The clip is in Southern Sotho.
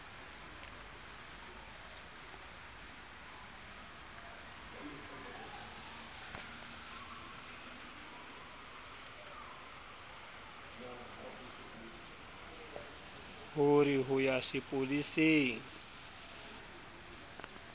ho re ho ya sepoleseng